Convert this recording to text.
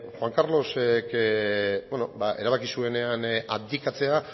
juan carlosek erabaki zuenean abdikatzea